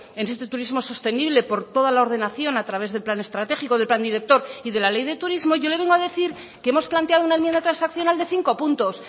en este turismo sostenible por toda la ordenación a través del plan estratégico del plan director y de la ley de turismo yo le vengo a decir que hemos planteado una enmienda transaccional de cinco puntos